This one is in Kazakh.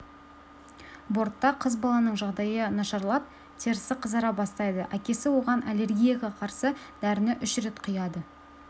бортта қыз баланың жағдайы нашарлап терісі қызара бастайды әкесі оған аллергияға қарсы дәріні үш рет құяды